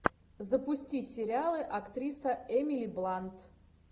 запусти сериалы актриса эмили блант